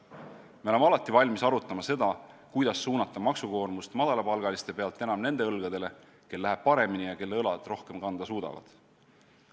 Me oleme alati valmis arutama seda, kuidas suunata maksukoormust madalapalgaliste pealt enam nende õlgadele, kel läheb paremini ja kelle õlad rohkem kanda suudavad.